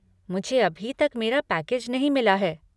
मुझे अभी तक मेरा पैकेज नहीं मिला है।